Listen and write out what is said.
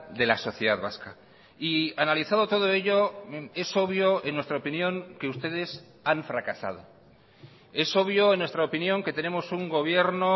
de la sociedad vasca y analizado todo ello es obvio en nuestra opinión que ustedes han fracasado es obvio en nuestra opinión que tenemos un gobierno